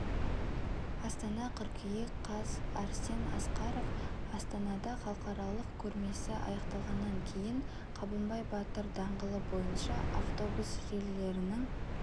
астана қыркүйек қаз арсен асқаров астанада халықаралық көрмесі аяқталғаннан кейін қабанбай батыр даңғылы бойынша автобус желілерінің